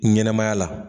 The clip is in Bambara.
Ɲɛnɛmaya la